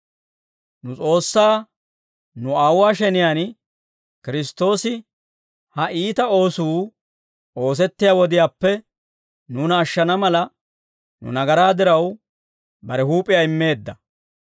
Nu S'oossaa, nu Aawuwaa sheniyaan Kiristtoosi ha iita oosuu oosettiyaa wodiyaappe nuuna ashshana mala, nu nagaraa diraw, bare huup'iyaa immeedda.